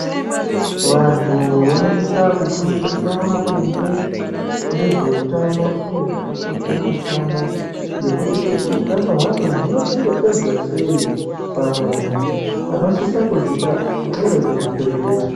Vantu vanosisa kufundiswa maringe ngezveutano uye zvakakoshera utano ngekuti futi utano hwacho hunochengetedzwa sei pamunhu. Vanosisa kuzviita ngevekuzvibhedhlera.